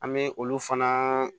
An bɛ olu fana